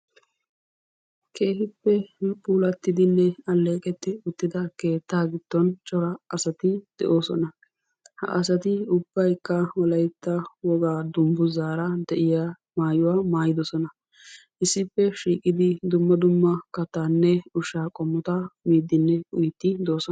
Keehippe puulattidinne alleeqetti uttida keettaa giddon cora asati de"oosona. Ha asati ubbaykka wolaytta wogaa dungguzzaara de"iya maayuwa maayidosona. Issippe shiiqidi dumma dumma kattaanne ushshaa qommota miiddinne uyiiddi de"oosona.